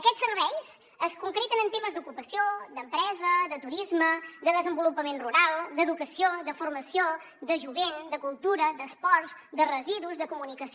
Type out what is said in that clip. aquests serveis es concreten en temes d’ocupació d’empresa de turisme de desenvolupament rural d’educació de formació de jovent de cultura d’esports de residus de comunicació